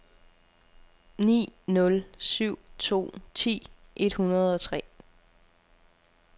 ni nul syv to ti et hundrede og tre